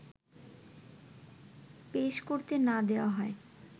পেশ করতে না দেওয়া হয়